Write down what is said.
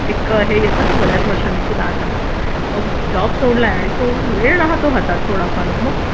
एक हे येत ना बऱ्याच वर्षांनी की बास आता मग जॉब सोडलाय आणि जो वेळ राहतो हातात थोडाफार मग